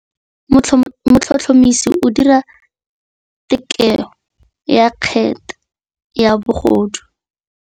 Motlhotlhomisi o dira têkolô ya kgetse ya bogodu.